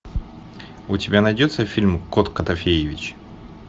у тебя найдется фильм кот котофеевич